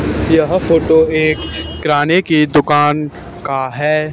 यह फोटो एक किराने की दुकान का है।